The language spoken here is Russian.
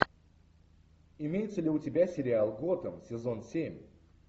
имеется ли у тебя сериал готэм сезон семь